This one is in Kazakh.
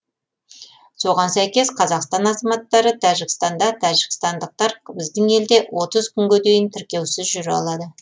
соған сәйкес қазақстан азаматтары тәжікстанда тәжікстандықтар біздің елде отыз күнге дейін тіркеусіз жүре алады